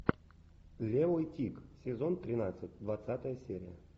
левый тик сезон тринадцать двадцатая серия